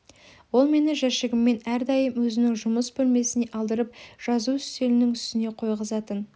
ол мені жәшігіммен әрдайым өзінің жұмыс бөлмесіне алдырып жазу үстелінің үстіне қойғызатын